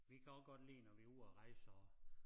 Vi kan også godt lide når vi ude at rejse at